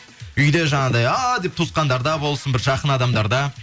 үйде жаңағындай а деп туысқандарда болсын бір жақын адамдарда